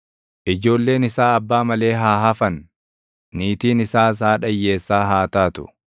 Ijoolleen isaa abbaa malee haa hafan; niitiin isaas haadha hiyyeessaa haa taatu.